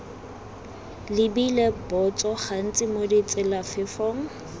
lebile botso gantsi mo ditselafefong